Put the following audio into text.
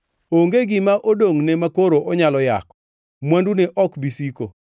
Onge gima odongʼne makoro onyalo yako; mwandune ok bi siko.